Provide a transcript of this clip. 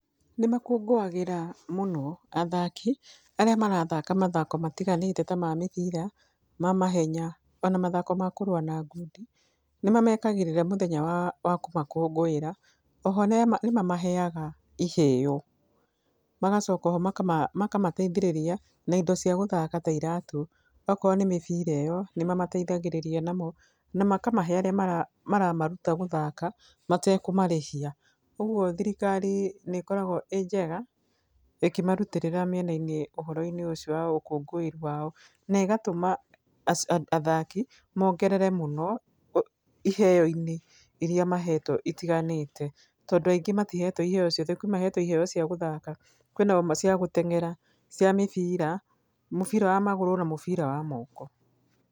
Nĩ makũngũagĩra mũno athaki arĩa marathaka mathako matiganĩte ta ma mĩbira, ma mahenya ona mathako ma kũrũa ngundi. Nĩ mamekagĩrĩra mũthenya wa kũmakũngũĩra. O ho nĩ mamaheaga iheo magacoka o ho makamateithĩrĩria na indo cia gũthaka ta iratũ. Okorwo nĩ mĩbira ĩyo nĩ mamateithagĩrĩria namo na makamahe arĩa maramaruta matekũmarĩhia. Ũguo thirikari nĩ ĩkoragwo ĩĩ njega ĩkĩmarutĩrĩra mĩena-inĩ ũhoro-inĩ ũcio wa ũkũngũĩri wao na ĩgatũma athaki mongerere mũno iheo-inĩ irĩa mahetwo itiganĩte. Tondũ aingĩ matihetwo iheo ciothe, kwĩ mahetwo iheo cia gũthaka, kwĩna ona cia gũtengera, cia mũbira, mũbira wa magũrũ na mũbira wa moko.